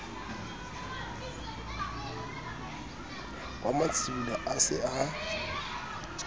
wa matsibolo a se a